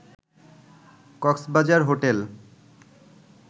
Cox's Bazar hotel